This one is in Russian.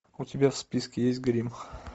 у тебя в списке есть гримм